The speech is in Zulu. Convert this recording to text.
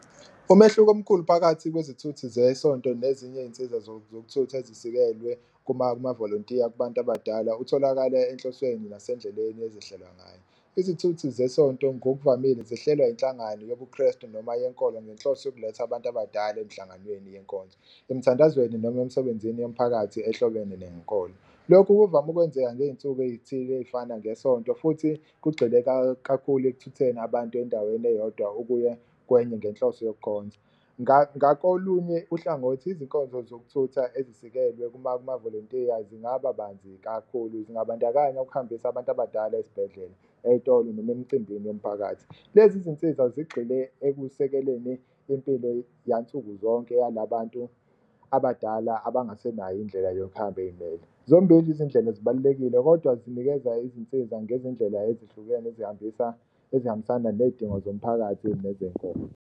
Umehluko omkhulu phakathi kwezithuthi zesonto nezinye iy'nsiza zokuthutha ezisikelwe mavolontiya kubantu abadala utholakala enhloswena nasendleleni ezihlelwa ngayo. Izithuthi zesonto ngokuvamile zihlelwa inhlangano yobuKrestu noma yenkolo ngenhloso yokuletha abantu abadala emhlanganweni yenkonzo, emithandazweni noma emsebenzini yomphakathi ezihlobene nenkolo. Lokhu kuvame ukwenzeka ngey'nsuku ey'thile ey'fana ngesonto futhi kugxile kakhulu ekuthutheni abantu endaweni eyodwa ukuya kwenye ngenhloso yokukhonza. Ngakolunye uhlangothi, izinkonzo zokuthutha ezisikelwe mavolontiya zingaba banzi kakhulu zingabandakanya ukuhambisa abantu abadala ezibhedlela, ey'tolo noma emcimbini yomphakathi. Lezi zinsiza zigxile ekusekeleni impilo yansuku zonke yalabantu abadala abangasenayo indlela yokuhamba ey'mele, zombili iy'ndlela zibalulekile kodwa zinikeza izinsiza ngezindlela ezihlukene ezihambisa ezihambisana ney'dingo zomphakathi nezenkolo.